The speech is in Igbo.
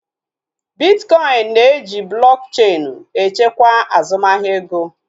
Bitkọin na-eji blọk cheenu echekwa azụmahịa ego